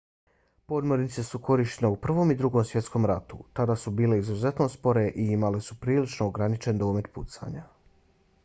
podmornice su korištene u prvom i drugom svjetskom ratu. tada su bile izuzetno spore i imale su prilično ograničen domet pucanja